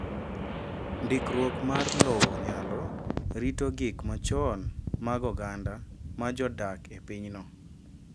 Ndikruok mar lowo nyalo rito gik machon mag oganda ma jodak e pinyno.